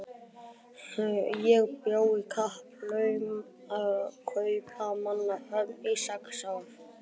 Ég bjó í Kaupmannahöfn í sex ár.